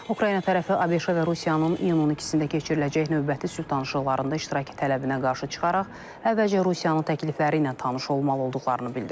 Ukrayna tərəfi ABŞ-a və Rusiyanın iyunun 12-də keçiriləcək növbəti sülh danışıqlarında iştirak tələbinə qarşı çıxaraq, əvvəlcə Rusiyanın təklifləri ilə tanış olmalı olduqlarını bildirib.